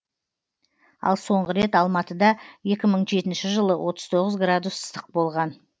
ал соңғы рет алматыда екі мың жетінші жылы отыз тоғыз градус ыстық болған